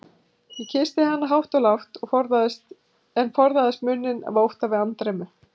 Ég kyssti hana hátt og lágt, en forðaðist munninn af ótta við andremmu.